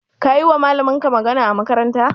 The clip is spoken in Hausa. Kayiwa malaminka magana a makarantar?